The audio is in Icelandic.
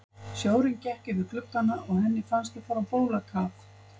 Sjórinn gekk yfir gluggana og henni fannst þau fara á bólakaf.